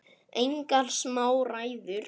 Engar smá ræður!